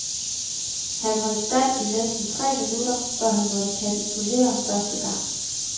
Han holdt stand i næsten tre minutter, før han måtte kapitulere første gang.